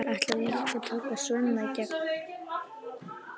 Ætlarðu líka að taka Svenna í gegn?